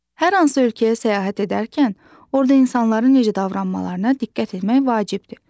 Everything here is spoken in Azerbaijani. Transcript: Hər hansı ölkəyə səyahət edərkən orda insanların necə davranmalarına diqqət etmək vacibdir.